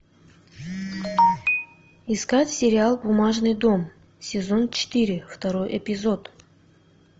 искать сериал бумажный дом сезон четыре второй эпизод